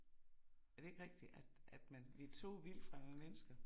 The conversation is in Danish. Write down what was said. Er det ikke rigtigt at man vi er to vildt fremmede mennesker